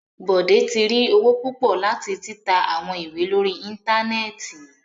Bode ti ri owo pupọ lati tita awọn iwe lori íńtánẹ́ẹ̀tì